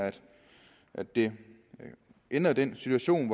at det ændrer den situation at